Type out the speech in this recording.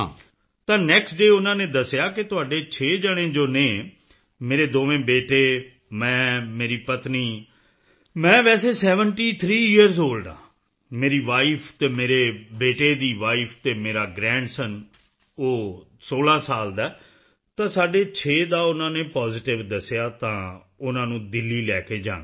ਤਾਂ next day ਉਨ੍ਹਾਂ ਨੇ ਦੱਸਿਆ ਕਿ ਤੁਹਾਡੇ 6 ਜਣੇ ਜੋ ਹਨ ਮੇਰੇ ਦੋਵੇਂ ਬੇਟੇ ਮੈਂ ਮੇਰੀ ਪਤਨੀ ਮੈਂ ਵੈਸੇ ਸੇਵੈਂਟੀ ਥਰੀ ਯੀਅਰ ਓਲਡ ਹਾਂ ਮੇਰੀ ਵਾਈਫ ਅਤੇ ਮੇਰੇ ਬੇਟੇ ਦੀ ਵਾਈਫ ਤੇ ਮੇਰਾ ਗ੍ਰੈਂਡਸਨ ਉਹ 16 ਸਾਲ ਦਾ ਹੈ ਤਾਂ ਸਾਡੇ 6 ਦਾ ਉਨ੍ਹਾਂ ਨੇ ਪੋਜ਼ੀਟਿਵ ਦੱਸਿਆ ਤਾਂ ਉਨ੍ਹਾਂ ਨੂੰ ਦਿੱਲੀ ਲੈ ਕੇ ਜਾਣਾ ਹੈ